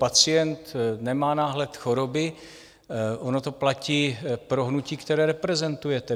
Pacient nemá náhled choroby, ono to platí pro hnutí, které reprezentujete.